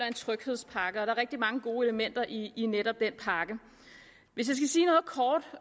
en tryghedspakke der er rigtig mange gode elementer i i netop denne pakke hvis